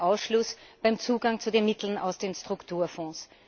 der Ausschluss beim Zugang zu den Mitteln aus den Strukturfonds.